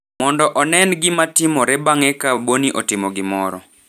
mondo onen gima timore bang’e ka Boni otimo gimoro.